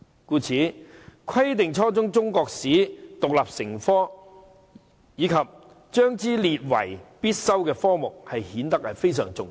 因此，規定初中中國歷史獨立成科，以及將之列為必修科目便顯得非常重要。